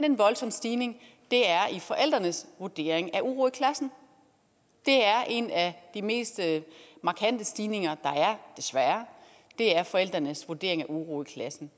en voldsom stigning er i forældrenes vurdering af uro i klassen det er en af de mest markante stigninger er desværre det er forældrenes vurdering af uro i klassen